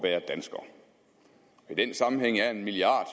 at i den sammenhæng er en milliard